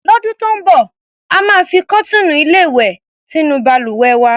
Lọ́dún tó ń bọ̀, a máa fi kọ́tíìnù-ilé-ìwè sínú balùwẹ̀ wa.